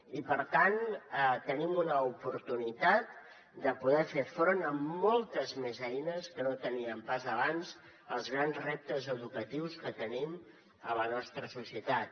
i per tant tenim una oportunitat de poder fer front amb moltes més eines que no teníem pas abans als grans reptes educatius que tenim a la nostra societat